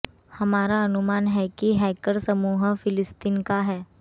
हमारा अनुमान है कि ये हैकर समूह फिलिस्तीन का है